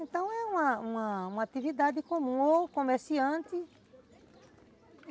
Então é uma uma atividade comum ou comerciante.